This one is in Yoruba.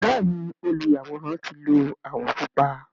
Bẹẹni oluyaworan ti lo awọ pupa.